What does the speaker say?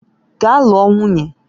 Gaa lụọ nwunye!